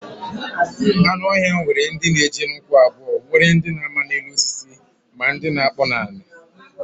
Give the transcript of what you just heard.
Anu ohia nwere ndi n'eje n'ukwu abuo nwekwa ndi n'ama n'elu osisi ma ndi na-akpo n'ala.